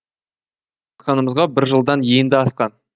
танысқанымызға бір жылдан енді асқан